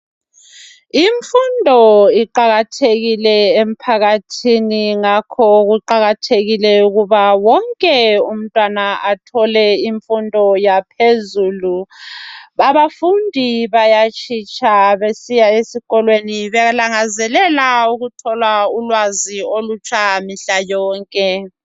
Imfundo iqakathekile emphakathini ngakho kuqakathekile ukuba wonke umntwana athole imfundo yaphezulu abafundi bayatshitsha besiya esikolweni belangazelela ukuthola ulwazi olutshaya mihla yonke.